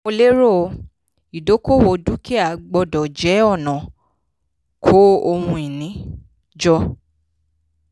mo lérò: ìdókòwò dúkìá gbọ́dọ̀ jẹ́ ọ̀nà kó ohun-ìní jọ.